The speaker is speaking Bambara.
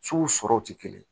Sow sɔrɔ tɛ kelen ye